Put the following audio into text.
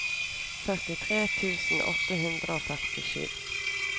førtitre tusen åtte hundre og førtisju